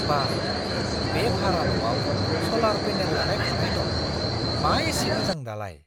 बा! बे भारा न'आव स'लार पेनेल लागायखानाय दं! मा एसे मोजां दालाय!